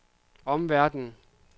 omverdenen